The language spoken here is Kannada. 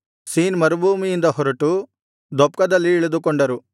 ಸೀನ್ ಮರುಭೂಮಿಯಿಂದ ಹೊರಟು ದೊಪ್ಕದಲ್ಲಿ ಇಳಿದುಕೊಂಡರು